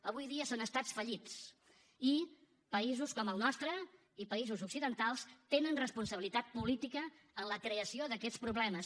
avui dia són estats fallits i països com el nostre i països occidentals tenen responsabilitat política en la creació d’aquests problemes